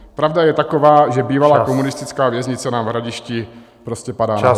Pravda je taková, že bývalá komunistická věznice nám v Hradišti prostě padá na hlavu.